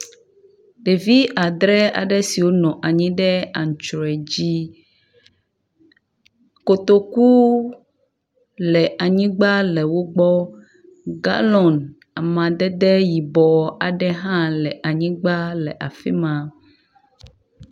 Ɖevi adre aɖe siow nɔ anyi ɖe antrɔe dzi. Kotoku le anyigba le wo gbɔ. Galɔn amadede yibɔ aɖe hã le anyigba le afi ma.